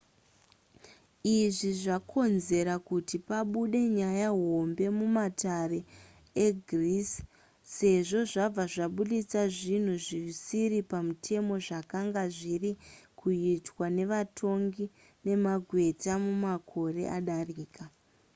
izvi zvakonzera kuti pabude nyaya hombe mumatare egreece sezvo zvabva zvabudisa zvinhu zvisiri pamutemo zvakanga zviri kuitwa nevatongi nemagweta mumakore adarika